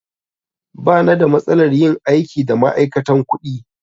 Ba na da matsalar yin aiki da ma'aikatan kuɗi.